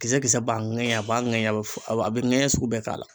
Kisɛ kisɛ b'a ŋɛɲɛ a b'a ŋɛɲɛ a be a be ŋɛɲɛ sugu bɛɛ k'a la.